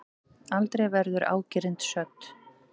Aldrei verður ágirnd södd.